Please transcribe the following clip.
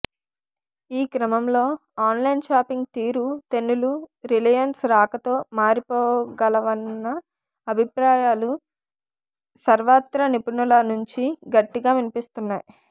ఈ క్రమంలో online shopping తీరు తెన్నులూ రిలయన్స్ రాకతో మారిపోగలవన్న అభిప్రాయాలు సర్వత్రా నిపుణుల నుంచి గట్టిగా వినిపిస్తున్నాయి